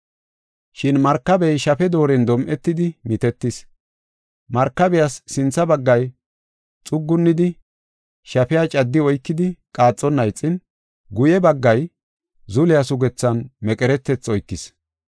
Shin markabey shafe dooren dom7etidi mitetis. Markabiyas sintha baggay xuggunidi shafiya caddi oykidi qaaxonna ixin, guye baggay zuliya sugethan meqeretethi oykis.